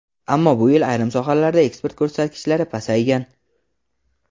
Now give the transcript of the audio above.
Ammo bu yil ayrim sohalarda eksport ko‘rsatkichlari pasaygan.